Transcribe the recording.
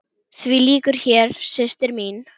Því lýkur hér, systir mín.